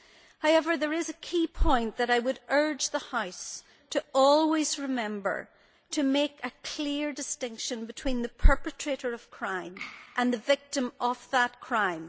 However, there is a key point I would urge the House to always remember to make a clear distinction between the perpetrator of crime and the victim of that crime.